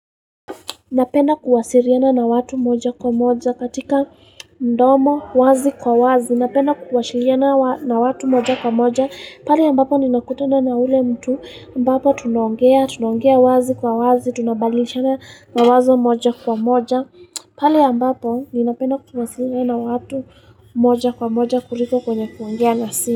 Napenda kuwasiriana na watu moja kwa moja katika mdomo wazi kwa wazi. Napena kuwasiriana na watu moja kwa moja. Pale ambapo ninakutana na ule mtu ambapo tunaongea, tunaongea wazi kwa wazi, tunabadilishana mawazo moja kwa moja pale ambapo ninapenda kuwasiriana na watu moja kwa moja kuliko kwenye kuongea na simu.